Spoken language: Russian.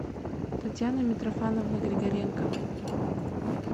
татьяна митрофановна григоренко